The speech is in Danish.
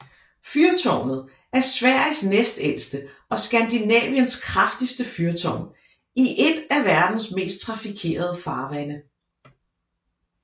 Fyrtårnet er Sveriges næstældste og Skandinaviens kraftigste fyrtårn i et af verdens mest trafikerede farvande